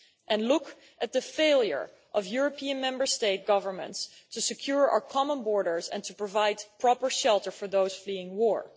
And look at the failure of European Member State governments to secure our common borders, and to provide proper shelter for those fleeing war!